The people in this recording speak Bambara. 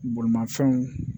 Bolimafɛnw